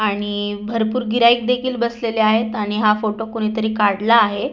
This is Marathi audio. आणि भरपूर गिरयाईक देखील बसलेले आहेत आणि हा फोटो कोणी तरी काडला आहे.